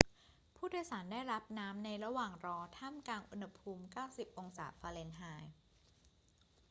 ผู้โดยสารได้รับน้ำในระหว่างรอท่ามกลางอุณหภูมิ 90 องศาฟาเรนไฮต์